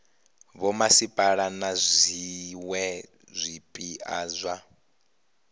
vhomasipala na zwiwe zwipia zwa